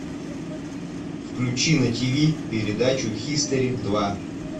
включи на тв передачу хистори два